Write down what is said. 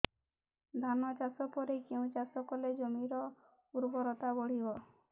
ଧାନ ଚାଷ ପରେ କେଉଁ ଚାଷ କଲେ ଜମିର ଉର୍ବରତା ବଢିବ